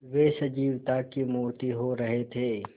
वे सजीवता की मूर्ति हो रहे थे